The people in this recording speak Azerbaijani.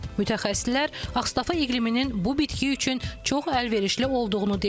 Mütəxəssislər Ağstafa iqliminin bu bitki üçün çox əlverişli olduğunu deyirlər.